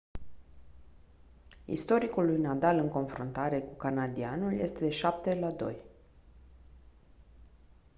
istoricul lui nadal în confruntare cu canadianul este de 7-2